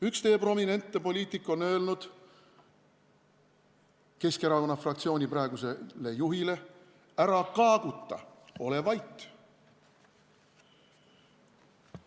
Üks teie prominentne poliitik on öelnud Keskerakonna fraktsiooni praegusele juhile: "Ära kaaguta, ole vait!